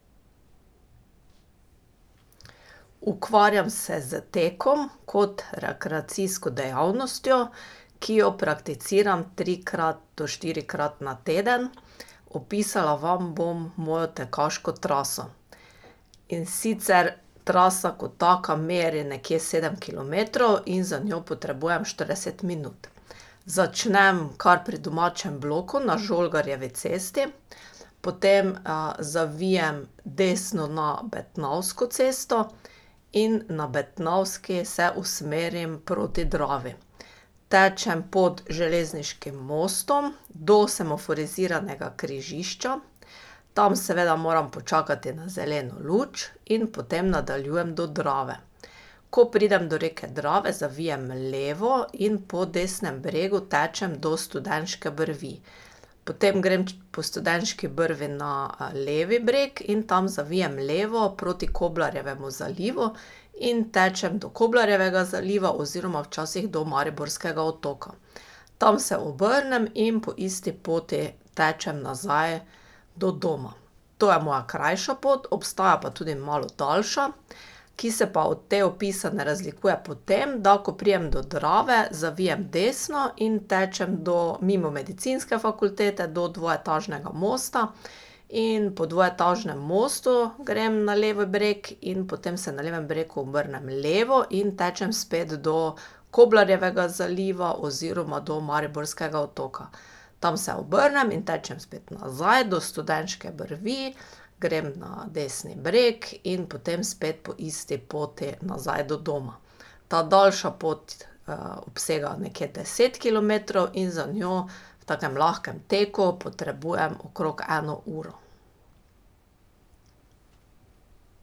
Ukvarjam se s tekom kot rekreacijsko dejavnostjo, ki jo prakticiram trikrat do štirikrat na teden, opisala vam bom mojo tekaško traso. In sicer trasa kot taka meri nekje sedem kilometrov in za njo potrebujem štirideset minut. Začnem kar pri domačem bloku na Žolgarjevi cesti, potem zavijem desno na Betnavsko cesto in na Betnavski se usmerim proti Dravi. Tečem pod železniškim mostom, do semaforiziranega križišča, tam seveda moram počakati na zeleno luč, in potem nadaljujem do Drave. Ko pridem do reke Drave, zavijem levo in po desnem bregu tečem do Studenške brvi. Potem grem po Studenški brvi na levi breg in tam zavijem levo proti Koblarjevemu zalivu in tečem do Koblarjevega zaliva oziroma včasih do Mariborskega otoka. Tam se obrnem in po isti poti tečem nazaj do doma. To je moja krajša pot, obstaja pa tudi malo daljša, ki se pa od te opisane razlikuje po tem, da ko pridem do Drave, zavijem desno in tečem do mimo medicinske fakultete do dvoetažnega mosta in po dvoetažnem mostu grem na levi breg in potem se na levem bregu obrnem levo in tečem spet do Koblarjevega zaliva oziroma do Mariborskega otoka. Tam se obrnem in tečem spet nazaj do Studenške brvi, grem na desni breg in potem spet po isti poti nazaj do doma. Ta daljša pot obsega nekje deset kilometrov in za njo v takem lahkem tako potrebujem okrog eno uro.